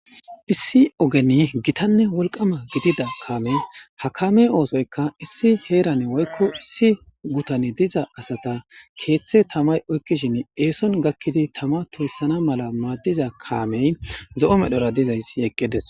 issi ogeni gitanne wolqama gidida kaamey ha kaamey oosoyka issi heerane woykko issi gutane diza asata keeththe tamay oykkishin eeson gakkidi tama tuussana mala maaddiza kaamey zo7o medhora dizayssi eqqides